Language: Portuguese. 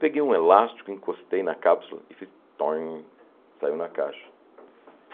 Peguei um elástico, encostei na cápsula e fiz tóin... Saiu na caixa.